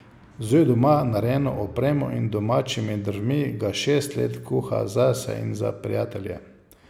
Z doma narejeno opremo in domačimi drvmi ga šest let kuha zase in za prijatelje.